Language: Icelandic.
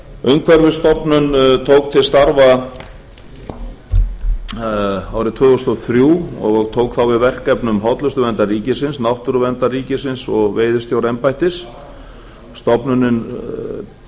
umhverfisstofnun tók til starfa árið tvö þúsund og þrjú og tók þá við verkefnum hollustuverndar ríkisins náttúruverndar ríkisins og veiðistjóraembættis hlutverk umhverfisstofnunar er